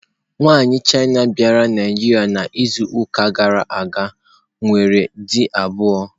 Nwaanyị China bịara Naịjirịa n'izuụka gara aga nwere di abụọ.